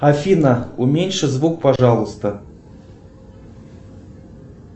афина уменьши звук пожалуйста